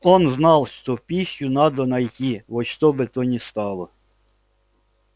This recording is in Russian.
он знал что пищу надо найти во что бы то ни стало